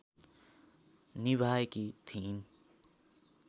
निभाएकी थिइन्